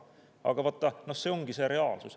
Aga vaata, see ongi see reaalsus.